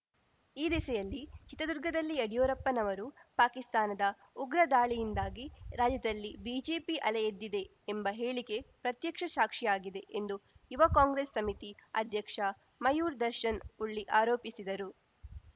ಈ ದಿಸೆಯಲ್ಲಿ ಚಿತ್ರದುರ್ಗದಲ್ಲಿ ಯಡಿಯೂರಪ್ಪನವರು ಪಾಕಿಸ್ತಾನದ ಉಗ್ರ ದಾಳಿಯಿಂದಾಗಿ ರಾಜ್ಯದಲ್ಲಿ ಬಿಜೆಪಿ ಅಲೆ ಎದ್ದಿದೆ ಎಂಬ ಹೇಳಿಕೆ ಪ್ರತ್ಯಕ್ಷ ಸಾಕ್ಷಿಯಾಗಿದೆ ಎಂದು ಯುವ ಕಾಂಗ್ರೆಸ್‌ ಸಮಿತಿ ಅಧ್ಯಕ್ಷ ಮಯೂರ್‌ ದರ್ಶನ್‌ ಉಳ್ಳಿ ಆರೋಪಿಸಿದರು